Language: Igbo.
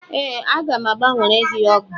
Ee, aga m a gbanwere gị ọgụ.